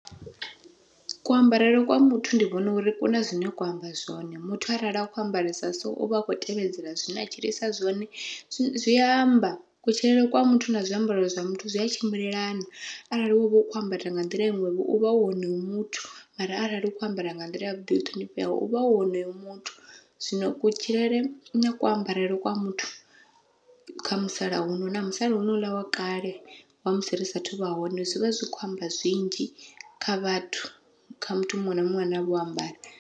Kuambarele kwa muthu ndi vhona uri kuna zwine kwa amba zwone, muthu arali a kho ambarisa so uvha a kho tevhedzela zwine a tshilisa zwone zwi amba kutshilele kwa muthu na zwiambaro zwa muthu zwi a tshimbilelana, arali wovha u kho ambara nga nḓila iṅwevho uvha u honoyo muthu arali u kho ambara nga nḓila yavhuḓi yo ṱhonifheaho uvha u honoyo muthu. Zwino kutshilele na kuambarele kwa muthu kha musalauno na musala honouḽa wa kale, wa musi ri sathu vha hone zwivha zwi kho amba zwinzhi kha vhathu kha muthu muṅwe na muṅwe ane avha o ambara.